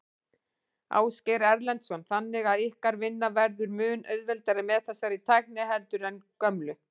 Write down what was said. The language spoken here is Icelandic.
Ásgeir Erlendsson: Þannig að ykkar vinna verður mun auðveldari með þessari tækni heldur en gömlu?